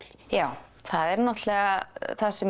já það er náttúrulega það sem